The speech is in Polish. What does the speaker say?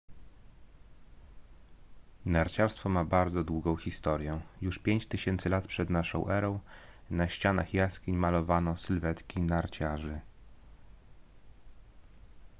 narciarstwo ma bardzo długą historię już 5000 lat p.n.e. na ścianach jaskiń malowano sylwetki narciarzy